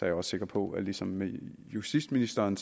jeg også sikker på at ligesom med justitsministeren